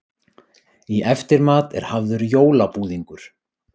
Í eftirmat er hafður jólabúðingur.